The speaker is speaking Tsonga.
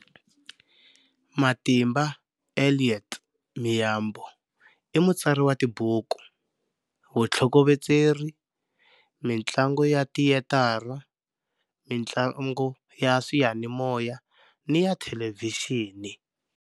Matimba Elliot Miyambo i mutsari wa tibuku, vutlhokovetseri, mitlangu ya tiyetarha, mitlangu ya swiyanimoya ni ya thelevhixini.